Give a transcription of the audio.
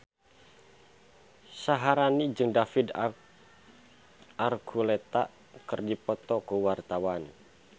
Syaharani jeung David Archuletta keur dipoto ku wartawan